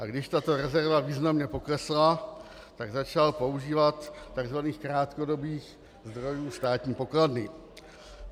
A když tato rezerva významně poklesla, tak začal používat tzv. krátkodobých zdrojů státní pokladny.